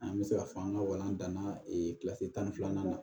An bɛ se k'a fɔ an ka walan danna ee tan ni filanan na